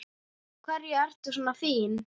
Af hverju ertu svona fín?